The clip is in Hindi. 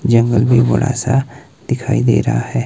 जंगल भी बड़ा सा दिखाई दे रहा है।